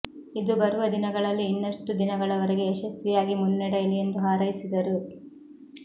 ಇದು ಬರುವ ದಿನಗಳಲ್ಲಿ ಇನ್ನಷ್ಟು ದಿನಗಳವರೆಗೆ ಯಶಸ್ವಿಯಾಗಿ ಮುನ್ನಡೆಯಲಿ ಎಂದು ಹಾರೈಸಿದರು